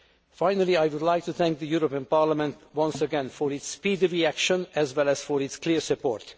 possible. Finally, I would like to thank the European Parliament once again for its speedy reaction as well as for its clear